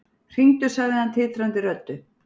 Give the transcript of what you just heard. Hringdu, sagði hann titrandi röddu.